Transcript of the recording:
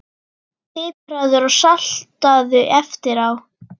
Pipraðu og saltaðu eftir á.